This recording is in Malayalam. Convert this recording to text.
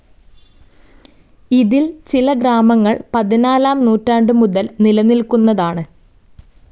ഇതിൽ ചില ഗ്രാമങ്ങൾ പതിനാലാം നൂറ്റാണ്ടുമുതൽ നിലനിൽക്കുന്നതാണ്.